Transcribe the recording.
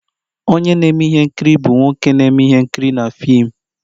Onye na-eme ihe nkiri bụ nwoke na-eme ihe nkiri na fim